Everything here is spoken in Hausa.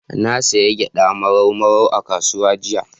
Na sayi gyaɗa Marau Marau a kasuwa jiya.